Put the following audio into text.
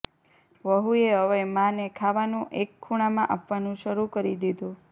વહુએ હવે માં ને ખાવાનું એક ખૂણામાં આપવાનું શરુ કરી દીધું